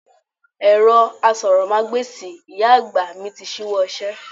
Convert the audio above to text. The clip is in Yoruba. Ẹ̀rọ asọ̀rọ̀mágbèsì ìyá àgbà mi ti ṣíwọ́ iṣẹ́.